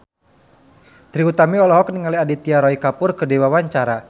Trie Utami olohok ningali Aditya Roy Kapoor keur diwawancara